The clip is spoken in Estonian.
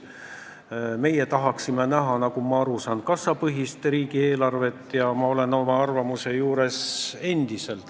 Nagu ma aru saan, tahaksime meie näha kassapõhist riigieelarvet, ja ma olen endiselt samal arvamusel.